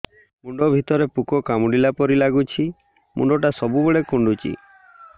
ମୁଣ୍ଡ ଭିତରେ ପୁକ କାମୁଡ଼ିଲା ପରି ଲାଗୁଛି ମୁଣ୍ଡ ଟା ସବୁବେଳେ କୁଣ୍ଡୁଚି